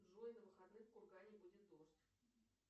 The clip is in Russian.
джой на выходных в кургане будет дождь